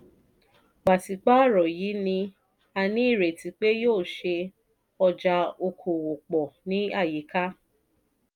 pàṣípààrọ̀ yìí ní a ní ìrètí pé yóò ṣe ọjà okòwò pọ̀ ní àyíká.